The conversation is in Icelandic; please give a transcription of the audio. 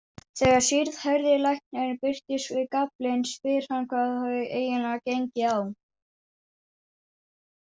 Þegar síðhærði læknirinn birtist við gaflinn spyr hann hvað hafi eiginlega gengið á.